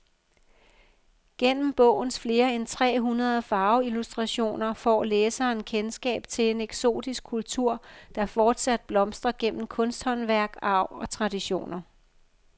Gennem bogens flere end tre hundrede farveillustrationer får læseren kendskab til en eksotisk kultur, der fortsat blomstrer gennem kunsthåndværk, arv og traditioner.